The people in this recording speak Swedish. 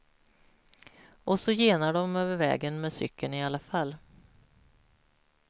Och så genar de över vägen med cykeln i alla fall.